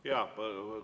Kui palju te soovite?